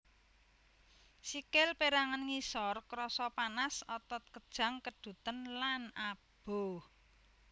Sikil pérangan ngisor krasa panas otot kejang keduten lan aboh